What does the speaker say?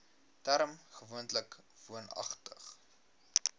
term gewoonlik woonagtig